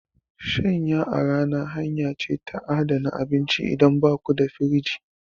Shanya a rana hanya ce ta adana abinci idan baku da firinji.